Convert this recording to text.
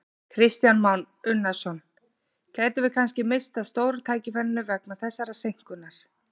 Kristján Már Unnarsson: Gætum við kannski misst af stóra tækifærinu vegna þessarar seinkunar?